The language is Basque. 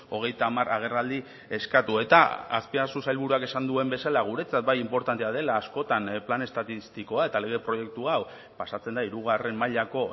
hogeita hamar agerraldi eskatu eta azpiazu sailburuak esan duen bezala guretzat bai inportantea dela askotan plan estatistikoa eta lege proiektu hau pasatzen da hirugarren mailako